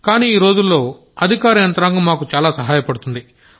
కానీ ఈరోజుల్లో అధికార యంత్రాంగం మాకు చాలా సహాయపడుతోంది